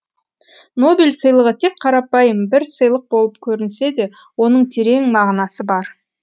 нобель сыйлығы тек қарапайым бір сыйлық болып көрінсе де оның терең мағынасы бар